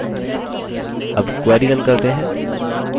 अब query now करते हैं